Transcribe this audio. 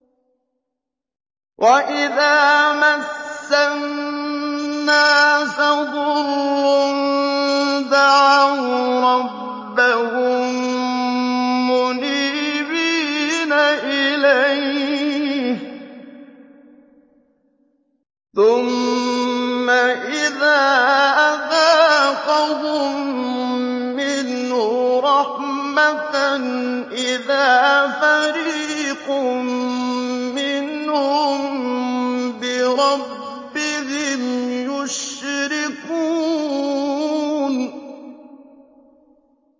وَإِذَا مَسَّ النَّاسَ ضُرٌّ دَعَوْا رَبَّهُم مُّنِيبِينَ إِلَيْهِ ثُمَّ إِذَا أَذَاقَهُم مِّنْهُ رَحْمَةً إِذَا فَرِيقٌ مِّنْهُم بِرَبِّهِمْ يُشْرِكُونَ